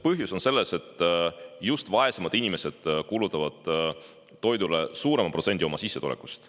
Põhjus on selles, et just vaesemad inimesed kulutavad toidule suurema protsendi oma sissetulekust.